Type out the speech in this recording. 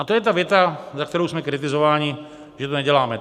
A to je ta věta, za kterou jsme kritizováni, že to neděláme.